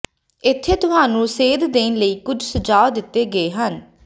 ਇੱਥੇ ਤੁਹਾਨੂੰ ਸੇਧ ਦੇਣ ਲਈ ਕੁਝ ਸੁਝਾਅ ਦਿੱਤੇ ਗਏ ਹਨ